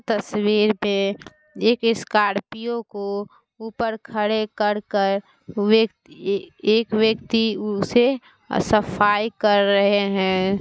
तस्वीर पे एक स्कोर्पिओ को ऊपर खड़े कर के एक व्यक्ति उसे सफ़ाई कर रहे है।